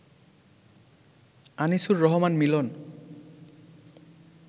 Anisur Rahman Milan